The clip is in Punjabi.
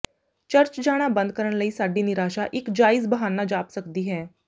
ਚਰਚ ਜਾਣਾ ਬੰਦ ਕਰਨ ਲਈ ਸਾਡੀ ਨਿਰਾਸ਼ਾ ਇੱਕ ਜਾਇਜ਼ ਬਹਾਨਾ ਜਾਪ ਸਕਦੀ ਹੈ